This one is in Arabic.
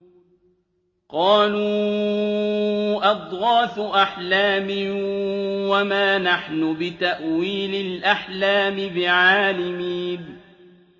قَالُوا أَضْغَاثُ أَحْلَامٍ ۖ وَمَا نَحْنُ بِتَأْوِيلِ الْأَحْلَامِ بِعَالِمِينَ